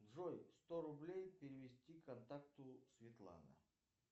джой сто рублей перевести контакту светлана